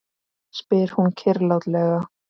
spyr hún kyrrlátlega.